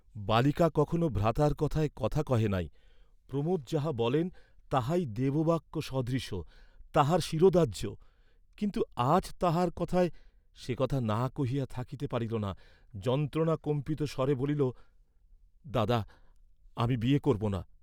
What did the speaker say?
বালিকা কখনও ভ্রাতার কথায় কথা কহে নাই, প্রমোদ যাহা বলেন তাহাই দেববাক্য সদৃশ তাহার শিরোধার্য্য, কিন্তু আজ তাঁহার কথায় সে কথা না কহিয়া থাকিতে পারিল না, যন্ত্রণাকম্পিত স্বরে বলিল, "দাদা, আমি বিয়ে করব না।"